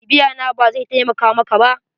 BIbiya na, bazai taimaka maka ba.